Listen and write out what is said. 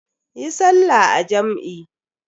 Yi sallah a jam'i.